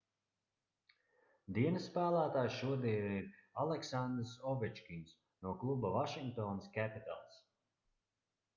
dienas spēlētājs šodien ir aleksandrs ovečkins no kluba vašingtonas capitals